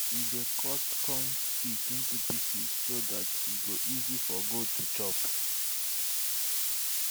we dey cut corn stick into pieces so dat e go easy for goat to chop